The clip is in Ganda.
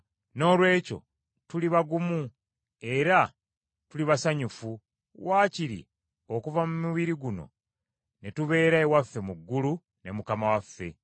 Noolwekyo tuli bagumu era tuli basanyufu, wakiri okuva mu mibiri guno ne tubeera ewaffe mu ggulu ne Mukama waffe.